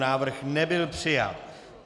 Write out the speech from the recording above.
Návrh nebyl přijat.